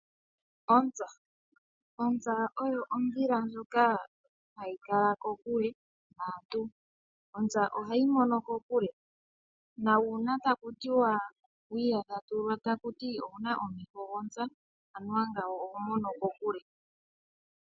Ontsa oyo ondhila ndjoka hayi kala kokule naantu . Ontsa ohayi mono kokule . Uuna taku tiwa owuna omeho gontsa oshahala okutya oho mono kokule.